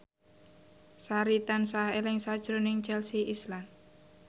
Sari tansah eling sakjroning Chelsea Islan